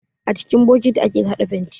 A cikin bokati ake haɗa fenti.